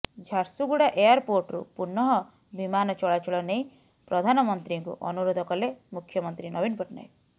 ଝାରସୁଗୁଡା ଏୟାରପୋର୍ଟରୁ ପୁନଃ ବିମାନ ଚଳାଚଳ ନେଇ ପ୍ରଧାନମନ୍ତ୍ରୀଙ୍କୁ ଅନୁରୋଧ କଲେ ମୁଖ୍ୟମନ୍ତ୍ରୀ ନବୀନ ପଟ୍ଟନାୟକ